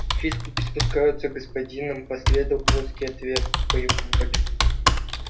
лучи испускаются господином последовал жёсткий ответ по его воле